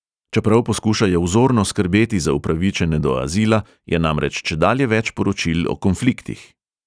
Čeprav poskušajo vzorno skrbeti za upravičene do azila, je namreč čedalje več poročil o konfliktih.